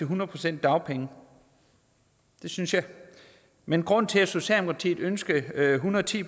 hundrede procent dagpenge det synes jeg men grunden til at socialdemokratiet ønskede en hundrede og ti